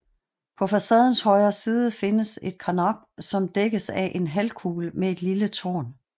På facadens højre side findes et karnap som dækkes af en halvkuppel med et lille tårn